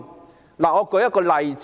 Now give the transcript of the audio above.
主席，我舉一個例子......